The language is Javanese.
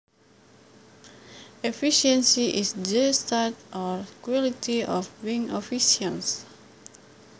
Efficiency is the state or quality of being efficient